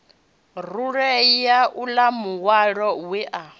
rulea uḽa muhwalo we a